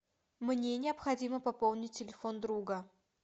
мне необходимо пополнить телефон друга